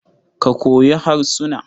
Ka koyi harsuna.